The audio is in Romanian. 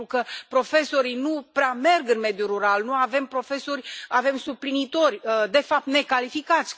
Pentru că profesorii nu prea merg în mediul rural, nu avem profesori, avem suplinitori, de fapt necalificați.